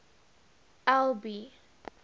albi